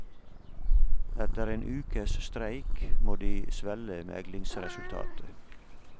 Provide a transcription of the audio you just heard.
Etter en ukes streik må de svelge meglingsresultatet.